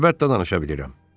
Əlbəttə danışa bilirəm.